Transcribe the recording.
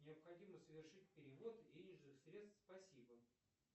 необходимо совершить перевод денежных средств спасибо